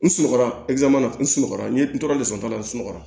N sunɔgɔ la n sunɔgɔra n ye n toro de sɔrɔ n sunɔgɔ